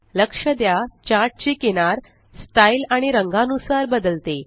लक्ष द्या चार्ट ची किनार स्टाइल आणि रंगा नुसार बदलते